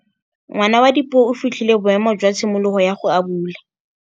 Ngwana wa Dipuo o fitlhile boêmô jwa tshimologô ya go abula.